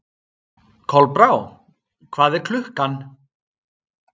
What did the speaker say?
Kolbrá, hvað er klukkan?